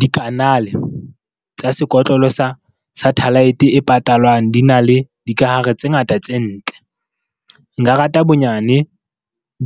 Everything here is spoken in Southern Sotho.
Dikanale tsa sekotlolo sa satellite e patalwang di na le dikahare tse ngata tse ntle. Nka rata bonyane